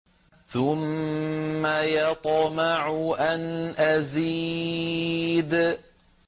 ثُمَّ يَطْمَعُ أَنْ أَزِيدَ